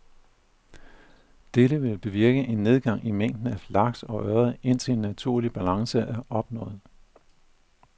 Dette vil bevirke en nedgang i mængden af laks og ørred, indtil en naturlig balance er opnået.